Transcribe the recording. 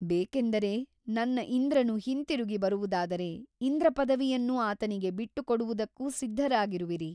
ಬೇಕೆಂದರೆ ನನ್ನ ಇಂದ್ರನು ಹಿಂತಿರುಗಿ ಬರುವುದಾದರೆ ಇಂದ್ರಪದವಿಯನ್ನು ಆತನಿಗೆ ಬಿಟ್ಟುಕೊಡುವುದಕ್ಕೂ ಸಿದ್ಧರಾಗಿರುವಿರಿ.